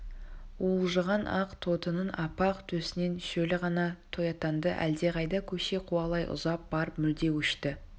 уылжыған ақ тотының аппақ төсінен шөлі қана тояттанды әлдеқайда көше қуалай ұзап барып мүлде өшті